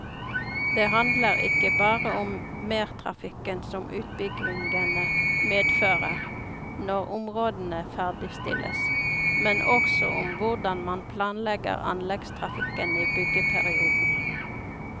Det handler ikke bare om mertrafikken som utbyggingene medfører når områdene ferdigstilles, men også om hvordan man planlegger anleggstrafikken i byggeperioden.